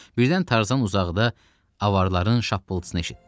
Birdən Tarzan uzaqda avarların şappıltısını eşitdi.